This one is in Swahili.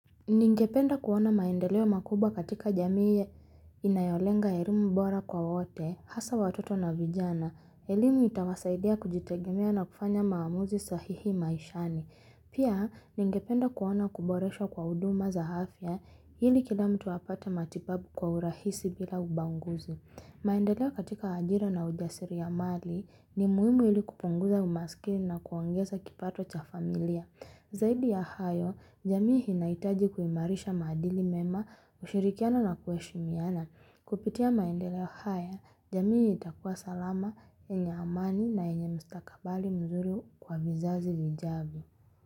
Ningependa kuona maendeleo makubwa katika jamii inayolenga elimu bora kwa wote, hasa watoto na vijana, elimu itawasaidia kujitegemea na kufanya maamuzi sahihi maishani. Pia, ningependa kuona kuboreshwa kwa huduma za afya ili kila mtu apata matibabu kwa urahisi bila ubaguzi. Maendeleo katika ajira na ujasiri ya mali ni muhimu ili kupunguza umaskini na kuongeza kipato cha familia. Zaidi ya hayo, jamii inahitaji kuimarisha maadili mema ushirikiano na kueshimiana. Kupitia maendele haya, jamii itakua salama, yenye amani na yenye mstakabali mzuri kwa vizazi vijavyo.